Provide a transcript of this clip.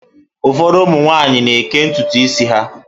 Ụfọdụ ụmụ nwaanyị na-eké ntutu isi ha.